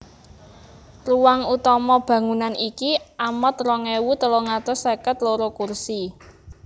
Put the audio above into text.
Ruang utama bangunan iki amot rong ewu telung atus seket loro kursi